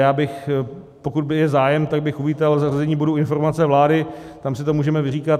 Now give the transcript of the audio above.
Já bych, pokud by byl zájem, tak bych uvítal zařazení bodu informace vlády, tam si to můžeme vyříkat.